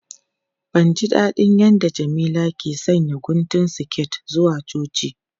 Ban ji dadin yadda Jamila ke sanya guntun siket zuwa coci.